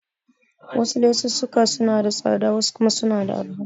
Wasu lesussuka suna da tsada wasu kuma suna da arha.